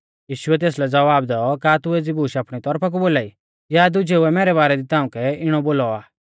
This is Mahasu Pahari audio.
यीशुऐ तेसलै ज़वाब दैऔ का तू एज़ी बूश आपणी तौरफा कु बोलाई या दुजेउऐ मैरै बारै दी ताउंकै इणौ बोलौ आ